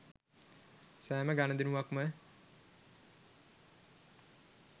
සෑම ගණුදෙනුවක්ම